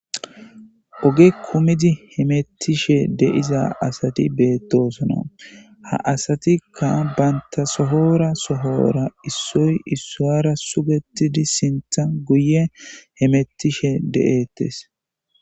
oge kkumidi hemettishe de'iza asati beettosona, ha asatikka banta sohora sohora issoy issuwara sugetidi sintha guye hemettishe de'ettes